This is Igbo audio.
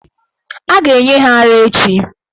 A ga-enye ha ara echi.